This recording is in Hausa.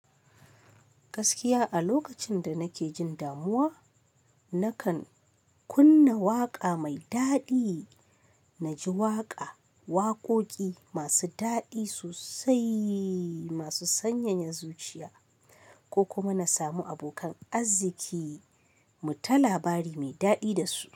Gaskiya a lokacin da nake jin damuwa, nakan kunna waƙa mai daɗi. Na ji waƙa, waƙoƙi masu daɗi sosai, masu sanyaya zuciya ko kuma na samu abokan arziki mu ta labari mai daɗi da su.